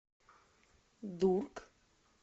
дург